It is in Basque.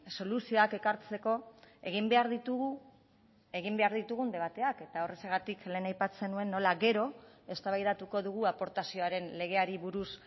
soluzioak ekartzeko egin behar ditugu egin behar ditugun debateak eta horrexegatik lehen aipatzen nuen nola gero eztabaidatuko dugu aportazioaren legeari buruz